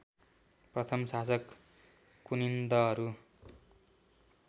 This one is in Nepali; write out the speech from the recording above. प्रथम शासक कुनिन्दहरू